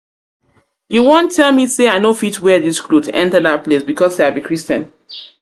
you wan tell me say i no fit wear dis cloth enter dat place because say i be christian?